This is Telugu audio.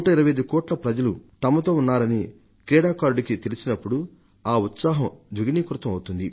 125 కోట్ల మంది ప్రజలు తమతో ఉన్నారని క్రీడాకారుడికి తెలిసినప్పుడు ఆ ఉత్సాహం ద్విగుణీకృతం అవుతుంది